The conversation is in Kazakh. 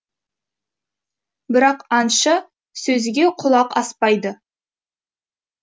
бірақ аңшы сөзге құлақ аспайды